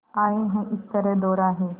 आए हैं इस तरह दोराहे